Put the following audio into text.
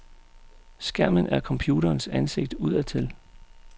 Skærmen er computerens ansigt udadtil.